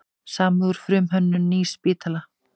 Samið um frumhönnun nýs spítala